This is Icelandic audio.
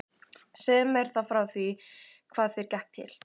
Segðu mér þá frá því hvað þér gekk til.